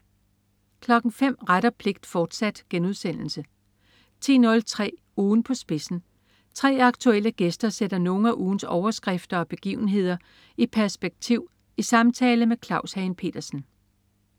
05.00 Ret og pligt, fortsat* 10.03 Ugen på spidsen. 3 aktuelle gæster sætter nogle af ugens overskrifter og begivenhederi perspektiv i samtale med Claus Hagen Petersen